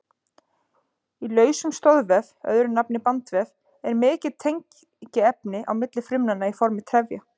Í lausum stoðvef, öðru nafni bandvef, er mikið tengiefni á milli frumnanna í formi trefja.